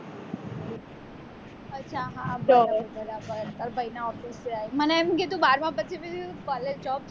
અચ્છા હા તો તારા ભાઈના office મને એમ કે તું બારમા પછી collage